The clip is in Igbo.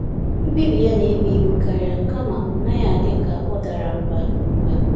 Mkpebi ya na-ebu ibu karịa, kama ọ n'aghi adị ya ka ọ dara mbà mbà